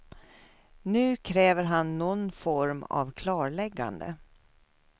Nu kräver han någon form av klarläggande.